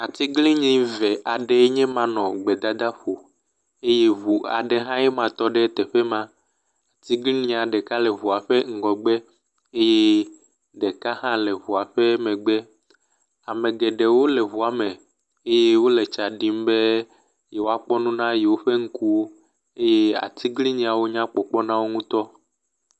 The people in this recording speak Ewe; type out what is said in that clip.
Atiglinyi eve aɖee nye ma nɔ gbedadaƒo eye ŋu aɖe hã nye ma tɔ ɖe teƒe ma. Atiglinyia ɖeka le ŋua ƒe ŋgɔgbe eye ɖeka hã le ƒe megbe. Ame geɖewo le ŋua me eye wole tsa ɖim be yewoakpɔ nu na yewo ƒe ŋkuwo eye atiglinyiawo nya le kpɔkpɔm na wo ŋutɔ.